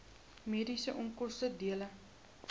mediese onkoste dele